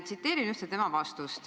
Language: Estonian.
Tsiteerin ühte tema vastust: "...